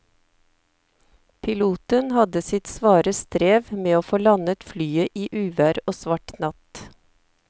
Piloten hadde sitt svare strev med å få landet flyet i uvær og svart natt.